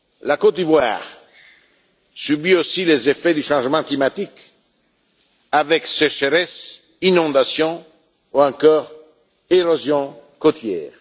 La Côte d'Ivoire subit aussi les effets du changement climatique, avec la sécheresse, des inondations ou encore l'érosion côtière.